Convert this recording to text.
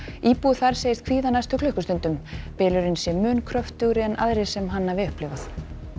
íbúi þar segist kvíða næstu klukkustundum bylurinn sé mun kröftugi en aðrir sem hann hafi upplifað